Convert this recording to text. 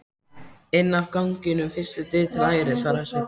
Inn af ganginum, fyrstu dyr til hægri, svaraði Sveinn.